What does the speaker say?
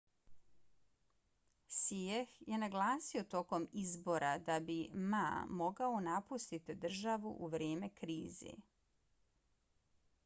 hsieh je naglasio tokom izbora da bi ma mogao napustiti državu u vrijeme krize